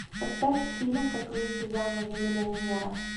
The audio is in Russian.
поставь фильм как выйти замуж за миллионера